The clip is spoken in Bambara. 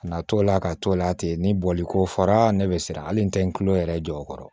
Ka na t'o la ka t'o la ten ni boliko fɔra ne bɛ siran ali n tɛ n tulo yɛrɛ jɔ o kɔrɔ